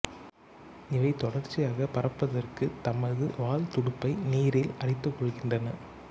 இவை தொடர்ச்சியாகப் பறப்பதற்கு தமது வால் துடுப்பை நீரில் அடித்துக்கொள்கின்றன